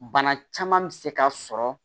Bana caman bɛ se ka sɔrɔ